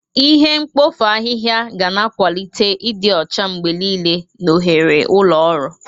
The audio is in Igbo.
Ihe mkpofu ahịhịa ga na-akwalite ịdị ọcha mgbe niile na oghere ụlọ ọrụ.